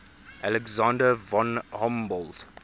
alexander von humboldt